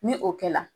Ni o kɛla